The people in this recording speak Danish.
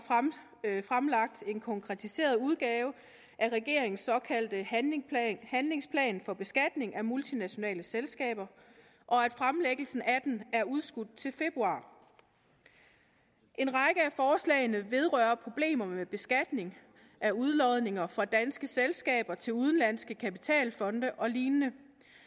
fremlagt en konkretiseret udgave af regeringens såkaldte handlingsplan handlingsplan for beskatning af multinationale selskaber og at fremlæggelsen af den er udskudt til februar en række af forslagene vedrører problemer med beskatning af udlodninger fra danske selskaber til udenlandske kapitalfonde og lignende